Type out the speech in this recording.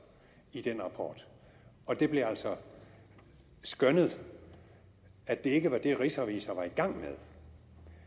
i den rapport og det blev altså skønnet at det ikke var det rigsrevisor var i gang med af